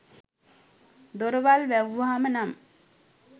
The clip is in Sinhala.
දොරවල් වැහුවම නම්